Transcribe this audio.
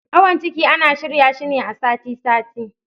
Awon ciki ana shirya shi ne a sati sati